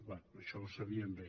bé això ho sabien bé